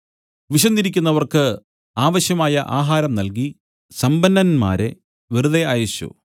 വിശന്നിരിക്കുന്നവർക്ക് ആവശ്യമായ ആഹാരം നൽകി സമ്പന്നന്മാരെ വെറുതെ അയച്ചു